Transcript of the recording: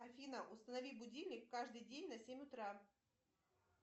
афина установи будильник каждый день на семь утра